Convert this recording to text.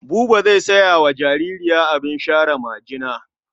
Buba zai saya wa jaririya abin share majina.